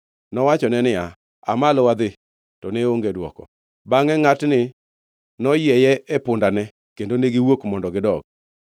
Nowachone niya, “Aa malo; wadhi.” To ne onge dwoko. Bangʼe ngʼatni noyieye e pundene kendo ne giwuok mondo gidog.